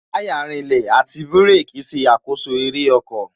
Táyà rinlẹ̀, àti bírèkī ṣe àkoso eré ọkọ̀